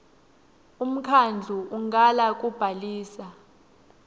umkhandlu ungala kubhalisa